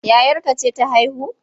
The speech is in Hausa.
Yayarka ce ta haihu?